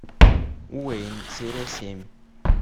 уэйн тире семь